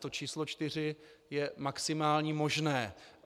To číslo čtyři je maximální možné.